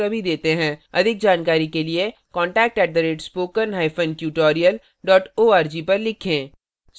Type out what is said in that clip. अधिक जानकारी के लिए contact @spokentutorial org पर लिखें